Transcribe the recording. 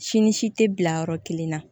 Si ni si tɛ bila yɔrɔ kelen na